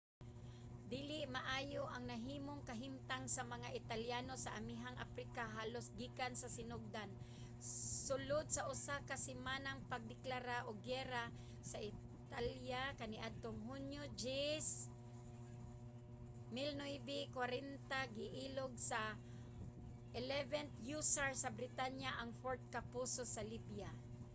dili maayo ang nahimong kahimtang sa mga italyano sa amihanang aprika halos gikan sa sinugdan. sulod sa usa ka semanang pagdeklara og giyera sa italya kaniadtong hunyo 10 1940 giilog sa 11th hussars sa britanya ang fort capuzzo sa libya